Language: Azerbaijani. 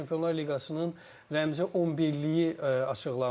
Çempionlar Liqasının rəmzi 11-liyi açıqlandı.